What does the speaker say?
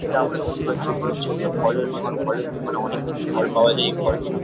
যেটা আমরা দেখতে পাচ্ছি এটা হচ্ছে একটা ফলের দোকান। ফলের দোকানে অনেক কিছু ফল পাওয়া যায় এই ফল গুলো --